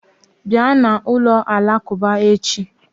Bịa na ụlọ alakuba echi